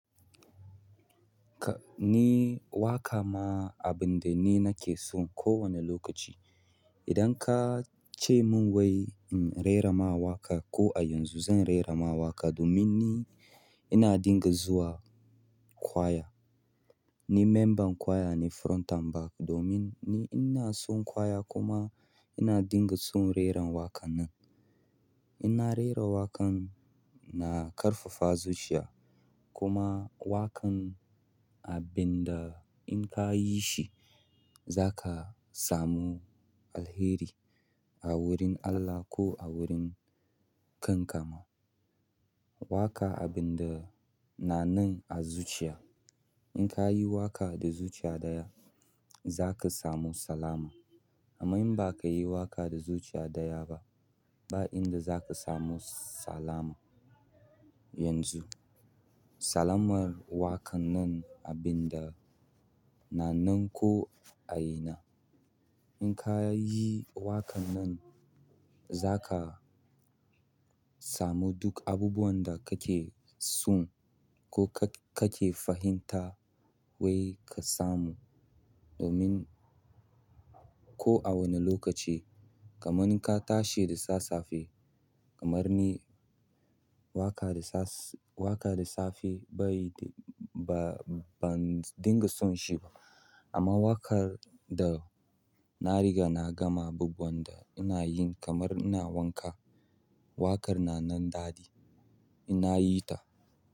Ka-- ni waƙa ma abin da ni nake son kowane lokaci. Idan ka ce mun wai in rera ma waƙa ko a yanzu zan rera ma waƙa domin ni ina dinga zuwa kwaya. Ni memban ƙwaya ne front and back domin ni ina son ƙwaya kuma ina dinga son reran waƙan nan. Ina rera waƙan na ƙarfafa zuciya kuma waƙan abin da in ka yi shi zaka samu alheri a wurin Allah ko a wurin kanka ma. Waƙa abin da na nan a zuciya. In ka yi waƙa da zuciya ɗaya zaka samu salama. Amma in ba ka yi waƙa da zuciya ɗaya ba, ba inda zaka samu salama yanzu. Salamar waƙan nan abin da na nan ko a ina. In ka yi waƙan nan zaka samu duk abubuwan da kake son ko ka, kake fahimta wai ka samu domin ko a wane lokaci kaman in ka tashi da sassafe kamar ni waƙa da sas-- waƙa da safe bai de-- ba, ban dinga son shi ba. Amma waƙar da na riga na gama abubuwanta ina yin kamar ina wanka waƙar da nan daɗi in na yi ta.